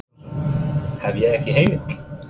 Jón Gunnarsson: Hef ég ekki heimild?